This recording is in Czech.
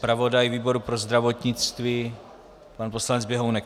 Zpravodaj výboru pro zdravotnictví pan poslanec Běhounek?